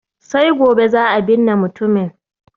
Sai gobe za a binne mutumin